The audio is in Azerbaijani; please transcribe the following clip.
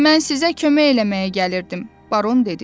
Mən sizə kömək eləməyə gəlirdim, Baron dedi.